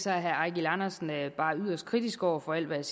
herre eigil andersen bare yderst kritisk over for alt hvad